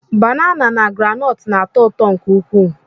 Banana na groundnut na-atọ ụtọ nke ukwuu